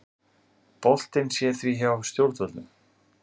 Boltinn sé því hjá stjórnvöldum